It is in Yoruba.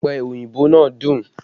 Ọpẹ oyinbo náà dùn